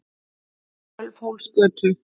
Sölvhólsgötu